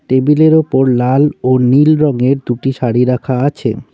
টেবিলের ওপর লাল ও নীল রংয়ের দুটি শাড়ি রাখা আছে।